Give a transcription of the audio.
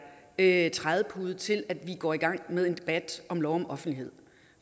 en trædepude til at vi går i gang med en debat om lov om offentlighed